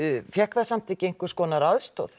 fékk það samt ekki einhverja aðstoð